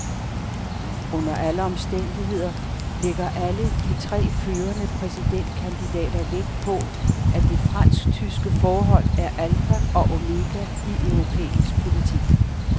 Under alle omstændigheder lægger alle de tre førende præsidentkandidater vægt på, at det fransktyske forhold er alfa og omega i europæisk politik.